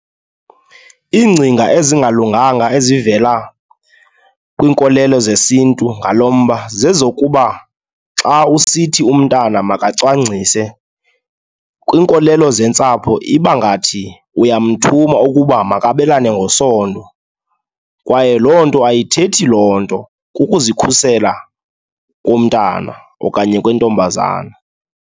Iingcinga ezingalunganga ezivela kwiinkolelo zesiNtu ngalo mba zezokuba xa usithi umntana makacwangcise, kwiinkolelo zentsapho iba ngathi uyamthuma ukuba makabelane ngesondo. Kwaye loo nto ayithethi loo nto, kukuzikhusela komntana okanye kwentombazana.